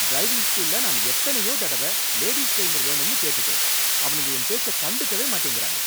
Driving ஸ்கூல்ல நான் எத்தனையோ தடவ லேடீஸ் ட்ரெயினர் வேணும்னு கேட்டுட்டேன், அவனுங்க என் பேச்ச கண்டுக்கவே மாட்டேங்கிறாங்க.